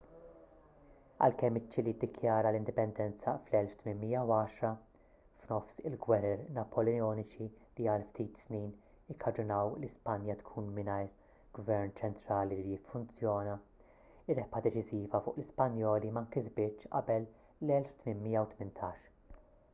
għalkemm iċ-ċili ddikjara l-indipendenza fl-1810 f'nofs il-gwerer napoleoniċi li għal ftit snin ikkaġunaw li spanja tkun mingħajr gvern ċentrali li jiffunzjona ir-rebħa deċiżiva fuq l-ispanjoli ma nkisbitx qabel l-1818